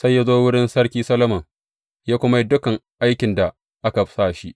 Sai ya zo wurin Sarki Solomon ya kuma yi dukan aikin da aka sa shi.